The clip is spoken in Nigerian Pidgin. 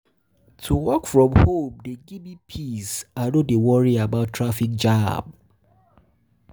To work from home dey give me peace, I no dey worry about traffic jam.